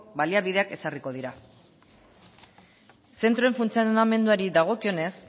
baliabideak ezarriko dira zentroen funtzionamenduari dagokionez